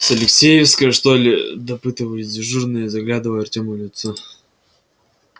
с алексеевской что ли допытывались дежурные заглядывая артёму в лицо